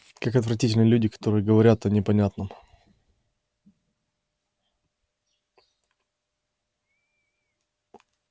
как отвратительны люди которые говорят о непонятном